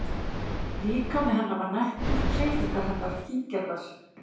Líkami hennar var nettur, hreyfingar hennar fíngerðar.